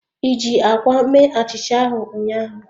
I ji akwa mee achicha ahu ụnyaahụ?